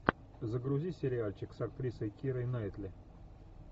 загрузи сериальчик с актрисой кирой найтли